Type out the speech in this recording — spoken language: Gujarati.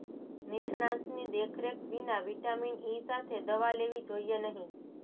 નિષ્ણાતની દેખરેખ વિના વિટામિન ઇ સાથે દવા લેવી જોઈએ નહીં